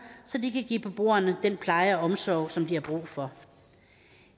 så de kan give beboerne den pleje og omsorg som de har brug for